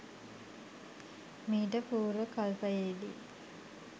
මීට පූර්ව කල්පයේදී